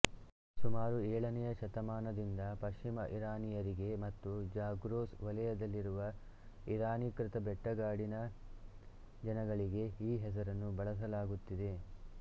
ಸುಮಾರು ಏಳನೆಯ ಶತಮಾನದಿಂದ ಪಶ್ಚಿಮ ಇರಾನಿಯರಿಗೆ ಮತ್ತು ಜಾಗ್ರೋಸ್ ವಲಯದಲ್ಲಿರುವ ಇರಾನೀಕೃತ ಬೆಟ್ಟಗಾಡಿನ ಜನಗಳಿಗೆ ಈ ಹೆಸರನ್ನು ಬಳಸಲಾಗುತ್ತಿದೆ